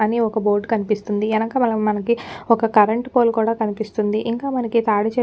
అని ఒక్క బోర్డ్ కనిపిస్తుందిఎన్నకమలం మనకి ఒక్క కరెంటు పోల్ కూడా కనిపిస్తుందిఇంకా మనకి తాటి చెట్లు రకరకాల --